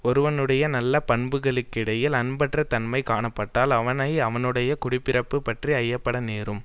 ஒருவனுடைய நல்ல பண்புகளுக்கிடையில் அன்பற்றத் தன்மைக் காணப்பட்டால் அவனை அவனுடைய குடி பிறப்பு பற்றி ஐயப்பட நேரும்